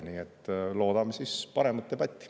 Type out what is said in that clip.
Nii et loodame paremat debatti.